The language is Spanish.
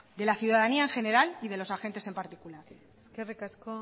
de la ciudadanía en general y de los agentes en particular eskerrik asko